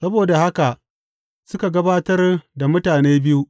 Saboda haka suka gabatar da mutane biyu.